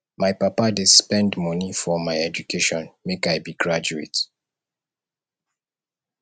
my papa dey spend moni for my education make i be graduate